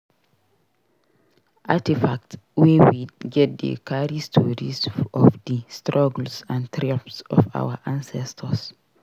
Artifacts wey we get dey carry stories of di struggles and triumphs of our ancestors.